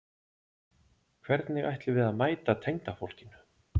Hvernig ætlum við að mæta tengdafólkinu?